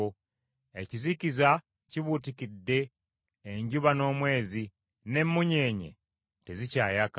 Ekizikiza kibuutikidde enjuba n’omwezi, n’emmunyeenye tezikyayaka.